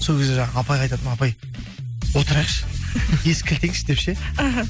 сол кезде жаңағы апайға айтатынмын апай отырайықшы есікті кілттейікші деп ше іхі